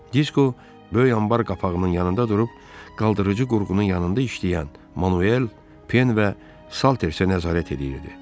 Disko böyük anbar qapağının yanında durub qaldırıcı qurğunun yanında işləyən Manuel, Pen və Salterisə nəzarət edirdi.